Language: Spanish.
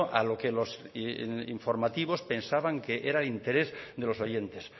a lo que los informativos pensaban que era de interés de los oyentes